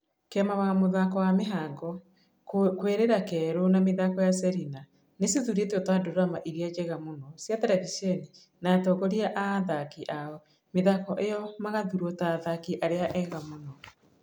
Kĩama wa mũthako wa Mĩhango, Kũĩrira, Kerũ na mĩthako ya Serina nĩcithurĩtwo ta ndurama iria njega mũno cia terevishoni na atongoria a athaki a mĩthako ĩyo magathurwo ta athaki arĩa ega mũno.